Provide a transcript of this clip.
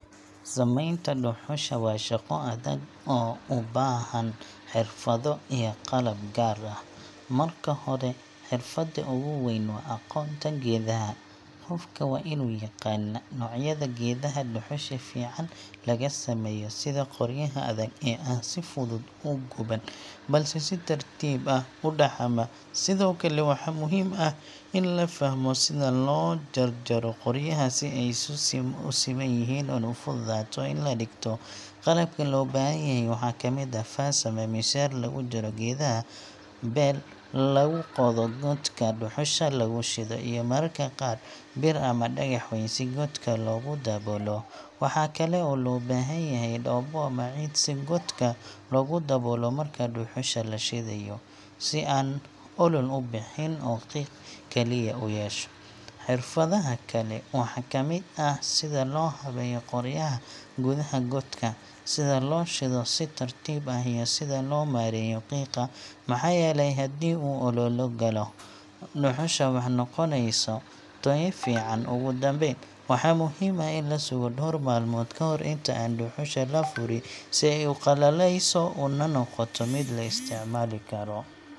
Sameynta dhuxusha waa shaqo adag oo u baahan xirfado iyo qalab gaar ah. Marka hore, xirfadda ugu weyn waa aqoonta geedaha: qofka waa inuu yaqaannaa noocyada geedaha dhuxusha fiican laga sameeyo sida qoryaha adag ee aan si fudud u guban, balse si tartiib ah u dhaxama. Sidoo kale, waxaa muhiim ah in la fahmo sida loo jarjaro qoryaha si ay u siman yihiin una fududaato in la dhigto. Qalabka loo baahan yahay waxaa kamid ah: faas ama miinshaar lagu jaro geedaha, bel lagu qodo godka dhuxusha lagu shido, iyo mararka qaar bir ama dhagax weyn si godka loogu daboolo. Waxaa kale oo loo baahan yahay dhoobo ama ciid si godka loogu daboolo marka dhuxusha la shidayo – si aan olol u bixin oo qiiq keliya u yeesho. Xirfadaha kale waxaa ka mid ah sida loo habeeyo qoryaha gudaha godka, sida loo shido si tartiib ah, iyo sida loo maareeyo qiiqa – maxaa yeelay haddii uu olol galo, dhuxusha ma noqonayso tayo fiican. Ugu dambeyn, waxaa muhiim ah in la sugo dhowr maalmood ka hor inta aan dhuxusha la furi, si ay u qalleeyso una noqoto mid la isticmaali karo.